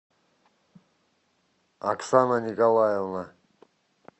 оксана николаевна